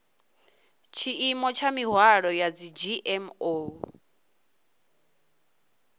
tshiimo tsha mihwalo ya dzgmo